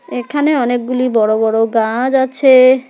এখানে অনেকগুলি বড় বড় গাজ আছে।